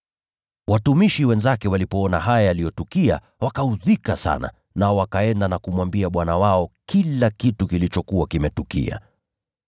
Watumishi wenzake walipoona haya yaliyotukia wakaudhika sana, nao wakaenda na kumwambia bwana wao kila kitu kilichokuwa kimetukia.